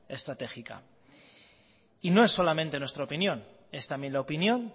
estratégica y no es solamente nuestra opinión es también la opinión